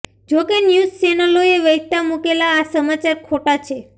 જોકે ન્યૂઝ ચેનલોએ વહેતા મુકેલા આ સમાચાર ખોટા છે